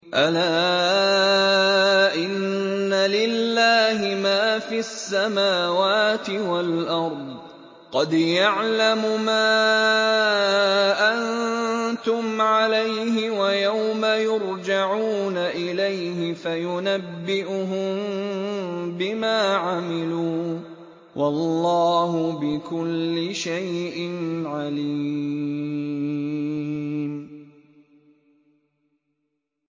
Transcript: أَلَا إِنَّ لِلَّهِ مَا فِي السَّمَاوَاتِ وَالْأَرْضِ ۖ قَدْ يَعْلَمُ مَا أَنتُمْ عَلَيْهِ وَيَوْمَ يُرْجَعُونَ إِلَيْهِ فَيُنَبِّئُهُم بِمَا عَمِلُوا ۗ وَاللَّهُ بِكُلِّ شَيْءٍ عَلِيمٌ